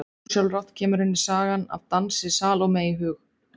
Ósjálfrátt kemur henni sagan af dansi Salóme í hug.